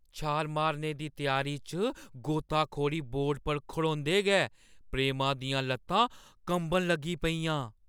छाल मारने दी त्यारी च गोताखोरी बोर्ड पर खड़ोंदे गै प्रेमा दियां ल'त्तां कंबन लगी पेइयां।